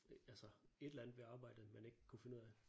Altså et eller andet ved arbejdet man ikke kunne finde ud af